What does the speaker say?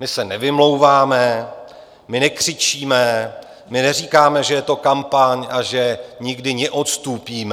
My se nevymlouváme, my nekřičíme, my neříkáme, že je to kampaň a že nikdy neodstúpime.